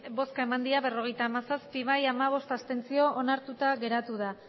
bai berrogeita hamazazpi abstentzioak hamabost onartuta geratu da